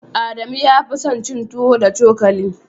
Adamu ya fi son cin tuwo da cokali.